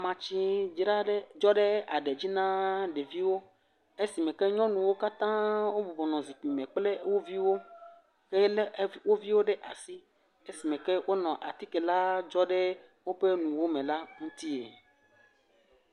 Amatsi dzra ɖe dzɔ ɖe aɖe dzi na ɖeviwo esime ke nyɔnuwo katã wobɔbɔnɔ zikpui me kple wo viwo eye ne e woviwo ɖe asi esime ke wonɔ atike la dzɔ ɖe woƒe nuwo me la ŋutie.